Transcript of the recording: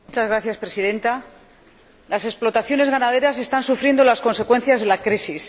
Señora Presidenta, las explotaciones ganaderas están sufriendo las consecuencias de la crisis.